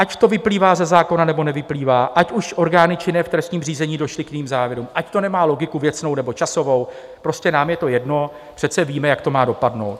Ať to vyplývá ze zákona, nebo nevyplývá, ať už orgány činné v trestním řízení došly k jiným závěrům, ať to nemá logiku věcnou, nebo časovou, prostě nám je to jedno, přece víme, jak to má dopadnout.